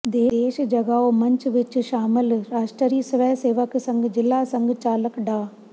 ਦੇਸ਼ ਜਗਾਓ ਮੰਚ ਵਿਚ ਸ਼ਾਮਲ ਰਾਸ਼ਟਰੀ ਸਵੈਸੇਵਕ ਸੰਘ ਜ਼ਿਲ੍ਹਾ ਸੰਘ ਚਾਲਕ ਡਾ